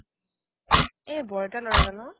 এ বৰ্তাৰ ল'ৰাজন অ'